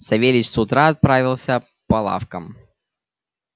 савельич с утра отправился по лавкам